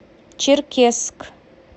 черкесск